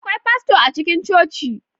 Akwai fasto a cikin coci?